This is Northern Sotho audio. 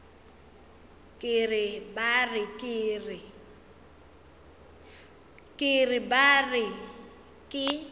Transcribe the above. ke re ba re ke